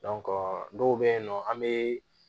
dɔw bɛ yen nɔ an bɛ